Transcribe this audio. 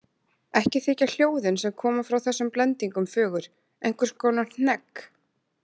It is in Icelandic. Ekki þykja hljóðin sem koma frá þessum blendingum fögur, einhvers konar hnegg.